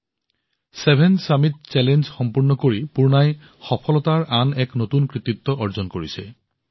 সাত সন্মিলন প্ৰত্যাহ্বান সম্পূৰ্ণ কৰি পূৰ্ণাই সফলতাৰ আন এটা কৃতিত্ব অৰ্জন কৰিছে